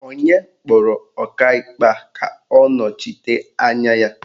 Onye kpọrọ Ọkaikpe a ka ọ nọchite anya ya?